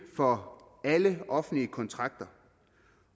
for alle offentlige kontrakter